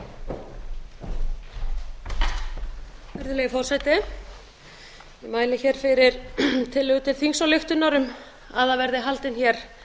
virðulegi forseti ég mæli hér fyrir tillögu til þingsályktunar um að það verði haldin hér